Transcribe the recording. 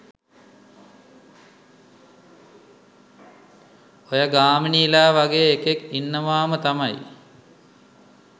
ඔය ගාමිනිලා වගේ එකෙක් ඉන්නවම තමයි